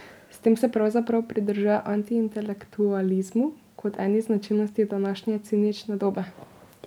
S tem se pravzaprav pridružuje antiintelektualizmu kot eni značilnosti današnje cinične dobe.